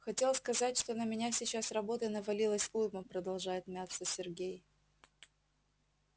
хотел сказать что на меня сейчас работы навалилось уйма продолжает мяться сергей